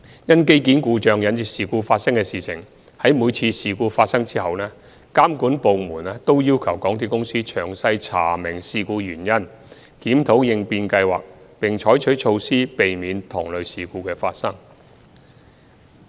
因機件故障引致事故發生的事件，在每次發生事故後，監管部門均要求港鐵公司詳細查明事故原因，檢討應變計劃，並採取措施避免同類事故發生。